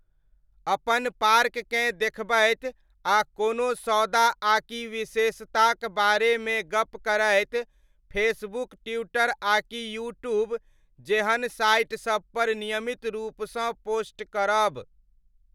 अपन पार्ककेँ देखबैत आ कोनो सौदा आकि विशेषताक बारेमे गप्प करैत फेसबुक, ट्विटर आकि यूट्यूब जेहन साइटसबपर नियमित रूपसँ पोस्ट करब।